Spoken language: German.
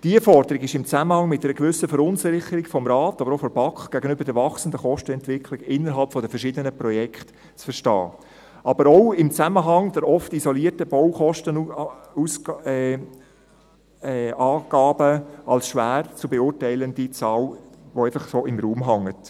Diese Forderung ist im Zusammenhang mit einer gewissen Verunsicherung des Rates, aber auch der BaK im Zusammenhang mit der wachsenden Kostenentwicklung innerhalb der verschiedenen Projekte zu verstehen, aber auch im Zusammenhang der oft isolierten Baukostenangaben als schwer zu beurteilende Zahl, die einfach so im Raum hängt.